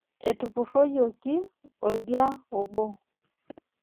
Etupurroyioki oldia obo.